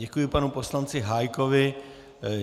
Děkuji panu poslanci Hájkovi.